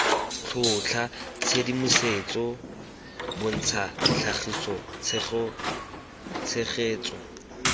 tlhotlha tshedimosetso bontsha tlhagisa tshegetso